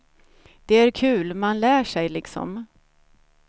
Det är kul, man lär sig liksom.